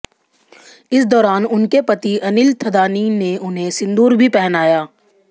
इस दौरान उनके पति अनिल थदानी ने उन्हें सिंदूर भी पहनाया